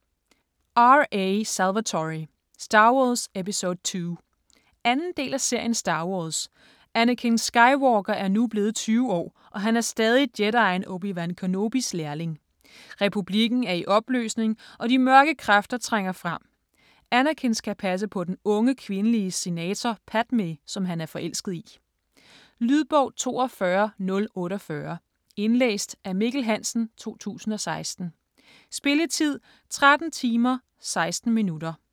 Salvatore, R. A.: Star Wars, episode II 2. del af serien Star wars. Anakin Skywalker er nu blevet 20 år, og han er stadig jedien Obi-Wan Kenobis lærling. Republikken er i opløsning, og de mørke kræfter trænger frem. Anakin skal passe på den unge kvindelige senator Padmé, som han er forelsket i. Lydbog 42048 Indlæst af Mikkel Hansen, 2016. Spilletid: 13 timer, 16 minutter.